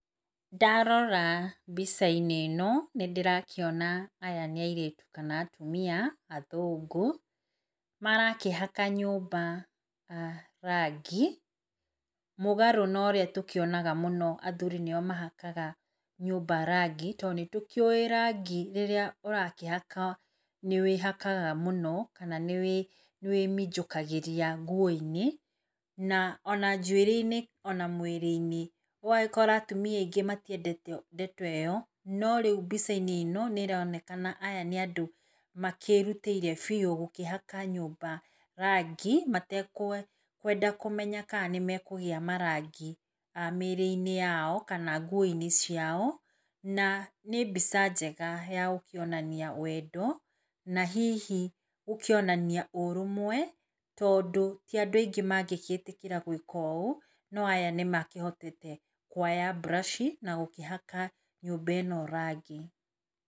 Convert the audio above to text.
Ndarora mbica-inĩ ino nĩndĩrakĩona aya nĩ airĩtu kana atumia athũngũ marakĩhaka nyũmba ah rangi mũgarwo na ũrĩa tũkĩonaga mũno athuri nĩo mahakaga nyũmba rangi. Nĩ tũkĩũĩ rangi rĩrĩa ũrakĩhaka nĩwĩhakaga mũno kana nĩwĩmĩnjikagĩria nguo inĩ na ona njwĩrĩ -inĩ ona mwĩrĩ -inĩ ũgagĩkora atumia aingĩ matiendete ndeto ĩo norĩu mbica-inĩ nĩronekana aya nĩ andũ makĩrutĩire biũ gũkĩhaka nyũmba rangi matekwenda kũmenya kana nĩ mekũgĩa marangi mwĩrĩ -inĩ yao kana nguo -inĩ ciao na nĩ mbica njega ya gũkĩonania wendo na hihi gũkĩonania ũrũmwe tondũ tia andũ aingĩ mangĩgĩtĩkĩra gwĩka ũ no aya nĩ makĩhotete kuoya brush na gũkĩhaka nyũmba ĩno rangi.